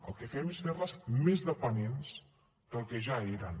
el que fem és fer les més dependents del que ja eren